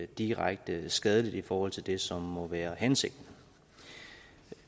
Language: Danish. direkte skadeligt i forhold til det som må være hensigten